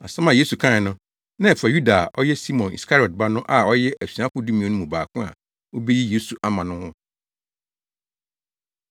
Asɛm a Yesu kae no, na ɛfa Yuda a ɔyɛ Simon Iskariot ba no a ɔyɛ asuafo dumien no mu baako a obeyi Yesu ama no ho.